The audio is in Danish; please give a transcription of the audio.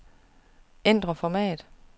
Ændr format.